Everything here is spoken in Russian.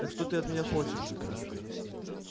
так что ты от меня хочешь